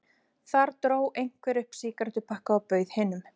Þar dró einhver upp sígarettupakka og bauð hinum.